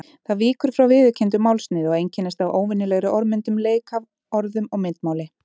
Það víkur frá viðurkenndu málsniði og einkennist af óvenjulegri orðmyndun, leik að orðum og myndmáli.